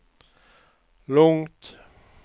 lugnt